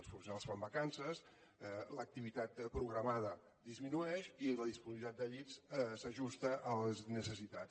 els professionals fan vacances l’activitat programada disminueix i la disponibilitat de llits s’ajusta a les necessitats